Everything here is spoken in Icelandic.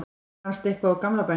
fannst eitthvað úr gamla bænum